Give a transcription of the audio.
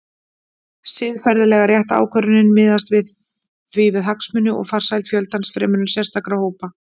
Siðferðilega rétt ákvörðun miðast því við hagsmuni og farsæld fjöldans fremur en sérstakra hópa.